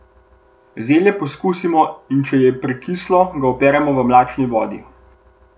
Zelje pokusimo, in če je prekislo, ga operemo v mlačni vodi.